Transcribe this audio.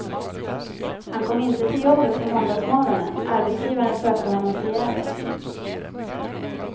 Han kom inte till jobbet på måndagsmorgonen, arbetsgivaren sökte honom förgäves.